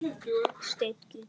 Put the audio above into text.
Steinn getur átt við